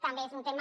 també és un tema